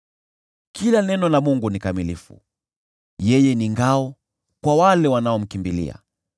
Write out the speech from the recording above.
“Kila neno la Mungu ni kamilifu; yeye ni ngao kwa wale wanaomkimbilia.